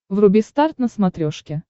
вруби старт на смотрешке